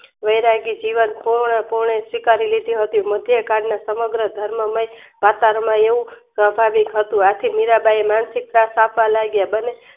વેયરજી જીવન પૂર્ણ પૂર્ણ સ્વીકારી લીધું હતું મધ્યકાળના સમગ્ર ધર્મ મય કતારમાં એવું સવાભાવીક હતું આથી મીરાંબાઈ એ માનસિક તા સ્થાપવા લાગ્યા